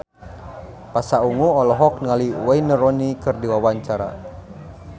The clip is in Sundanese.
Pasha Ungu olohok ningali Wayne Rooney keur diwawancara